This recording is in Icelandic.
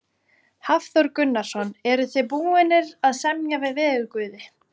Hafþór Gunnarsson: Eruð þið búnir að semja við veðurguði?